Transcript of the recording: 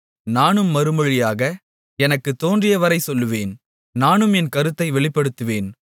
நானும் மறுமொழியாக எனக்குத் தோன்றியவரை சொல்லுவேன் நானும் என் கருத்தை வெளிப்படுத்துவேன்